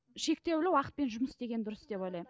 шектеулі уақытпен жұмыс істеген дұрыс деп ойлаймын